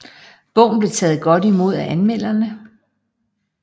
Bogen blev taget godt imod af anmelderne